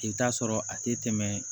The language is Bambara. I bɛ taa sɔrɔ a tɛ tɛmɛ